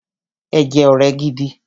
Ẹ jẹ́ ọ̀rẹ́ gidi!